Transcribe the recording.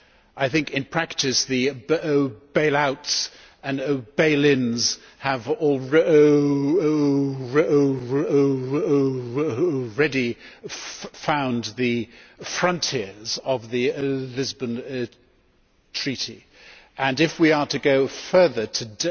I think that in practice, the bailouts and bail ins have already found the frontiers of the Lisbon Treaty and if we are to go further to